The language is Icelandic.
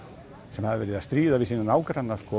sem hafa verið að stríða við sína nágranna